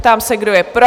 Ptám se, kdo je pro?